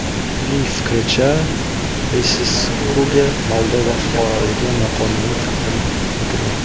Uning fikricha, Beseskuga Moldova fuqaroligi noqonuniy taqdim etilgan.